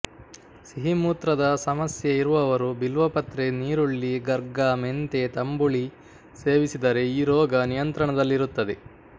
ಸಿಹಿಮೂತ್ರದ ಸಮಸ್ಯೆ ಇರುವವರು ಬಿಲ್ವಪತ್ರೆ ನೀರುಳ್ಳಿ ಗರ್ಗ ಮೆಂತೆ ತಂಬುಳಿ ಸೇವಿಸಿದರೆ ಈ ರೋಗ ನಿಯತ್ರಣದಲ್ಲಿರುತ್ತದೆ